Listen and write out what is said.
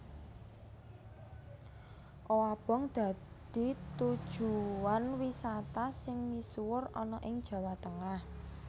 Owabong dadi tujuwan wisata sing misuwur ana ing Jawa Tengah